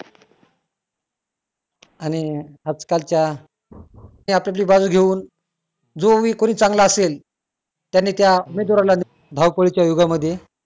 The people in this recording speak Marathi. आणि आज-कालच्या आप-आपली बाजू घेऊन जो भी कुणी चांगला असेल त्यांनी त्या उमेदवारांना धावपळीच्या युगामध्ये